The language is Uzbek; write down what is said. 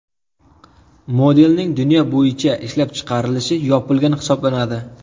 Modelning dunyo bo‘yicha ishlab chiqarilishi yopilgan hisoblanadi.